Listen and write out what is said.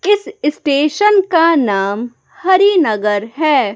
इस स्टेशन का नाम हरि नगर है।